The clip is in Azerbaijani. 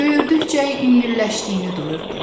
Böyürdükcə yüngülləşdiyini duyurdu.